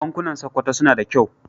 Bankunan Sokoto suna da kyau.